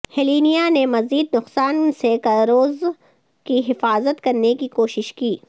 Helena نے مزید نقصان سے کروزر کی حفاظت کرنے کی کوشش کی